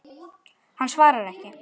Hann svarar ekki.